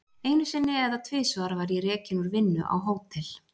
Einu sinni eða tvisvar var ég rekinn úr vinnu á Hótel